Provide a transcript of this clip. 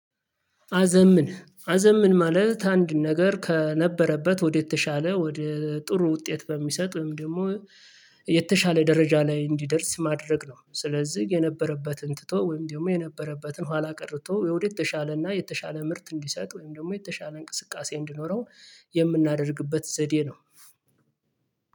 አዘምን አዘምን ማለት አንድ ነገር ከነበረበት ወደ ተሻለ ወደ ጥሩ ውጤት በሚሰጥም ወይም ደግሞ የተሻለ ደረጃ ላይ እንዲደርስ ማድረግ ነው። ስለዚህ የነበረበትን ትቶ ወይም ደግሞ የነበረበትን ኋላ ቀርቶ የውዴት የተሻለ እና የተሻለ ምርት እንዲሰጥ ወይም ደግሞ የተሻለ እንቅስቃሴ እንዲኖረው የምናደርግበት ዘዴ ነው።